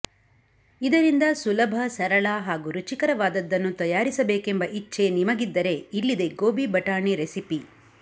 ಇದರಿಂದ ಸುಲಭ ಸರಳ ಹಾಗೂ ರುಚಿಕರವಾದದ್ದನ್ನು ತಯಾರಿಸಬೇಕೆಂಬ ಇಚ್ಛೆ ನಿಮಗಿದ್ದರೆ ಇಲ್ಲಿದೆ ಗೋಬಿ ಬಟಾಣಿ ರೆಸಿಪಿ